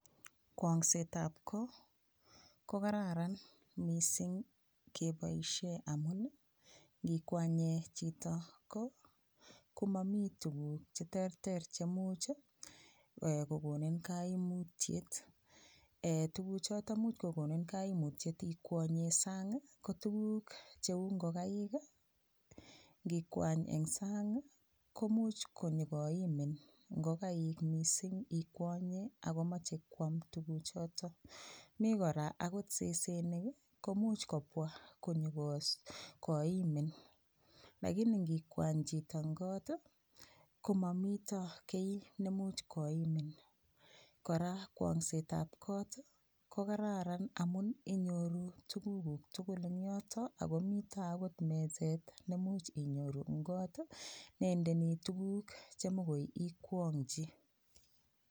Kwong'set ab ko koraran mising keboishee amun ngikwanye chito ko komamii tukuk cheterter chemuch kokonin kaimutyet tukuchoto much kokonin kaimutyet ikwonyee sang ko tukuk cheu ngokaik ngikwanye eng sang komuch konyikoimin ngokaik mising ikwonye akomochei koam tukuchoto mi kora akot sesenik komuch kopwa konyoimin lakini ngikwany chito eng kot komamito kii nemuch koimin kora kwong'set ab kot ko kararan amun inyoruu tukuk tugul eng yoto akomito akot meset nemuch inyoru eng kot nendeni tukuk chemikoi ikwonchi